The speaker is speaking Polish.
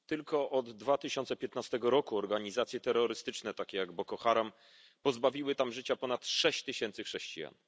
Tylko od 2015 roku organizacje terrorystyczne, takie jak Boko Haram, pozbawiły tam życia ponad sześć tysięcy chrześcijan.